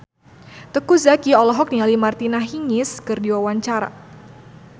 Teuku Zacky olohok ningali Martina Hingis keur diwawancara